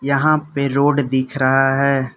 यहाँ पे रोड दिख रहा है।